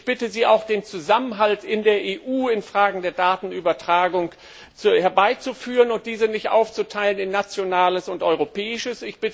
Ich bitte Sie auch, den Zusammenhalt in der EU in Fragen der Datenübertragung herbeizuführen und diesen nicht aufzuteilen in Nationales und Europäisches.